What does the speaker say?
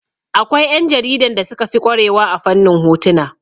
Akwai ƴan jaridan da suka fi ƙware wa a fannin hotuna